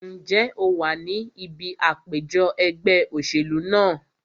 Ǹjẹ́ o wà ní ibi àpèjọ ẹgbẹ́ òṣèlú náà?